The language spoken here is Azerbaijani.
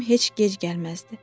Cim heç gec gəlməzdi.